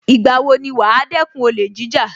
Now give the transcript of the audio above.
Ìgbà wo ni wàá dẹ́kun olè jíjà